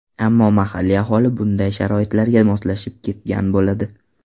Ammo mahalliy aholi bunday sharoitlarga moslashib ketgan bo‘ladi.